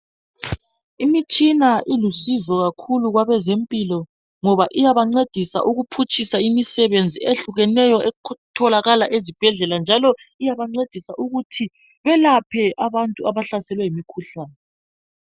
Imitshina ilusizo kakhulu kwabezempilo ngoba iyabancedisa ukuphutshisa imisebenzi ehlukeneyo etholakala ezibhedlela. Njalo iyabancedisa ukuthi belaphe abantu abahlaselwe yimikhuhlane.